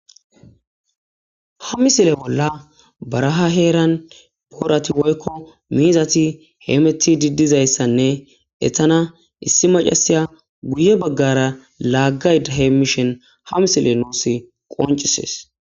Ha misile bolla, baraha heeran boorati woyko miizati hemettidi diza issanne, issi maccasiya guye baggara laaggayida heemmishen, ha misile nuusi qonccisees.